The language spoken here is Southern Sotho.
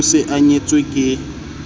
o se a nyetswe ke